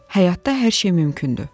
Həyatda hər şey mümkündür.